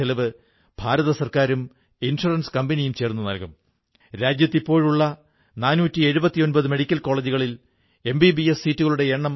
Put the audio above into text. സുഹൃത്തുക്കളേ ഈ മാസത്തിന്റെ 31ാം തീയതി എനിക്ക് കേവദിയായിൽ ചരിത്രംകുറിക്കുന്ന സ്റ്റാച്യൂ ഓഫ് യൂനിറ്റിയിൽ നടക്കുന്ന പല പരിപാടികളിലും പങ്കെടുക്കാനുള്ള അവസരം ലഭിക്കും